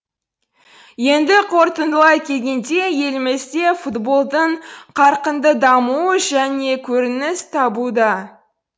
енді қорытындылай келгенде елімізде футболдың қарқынды дамуы жаңа көрініс табуда